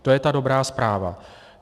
To je ta dobrá zpráva.